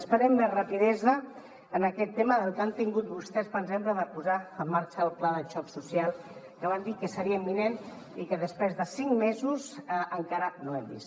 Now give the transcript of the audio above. esperem més rapidesa en aquest tema de la que han tingut vostès per exemple per posar en marxa el pla de xoc social que van dir que seria imminent i que després de cinc mesos encara no hem vist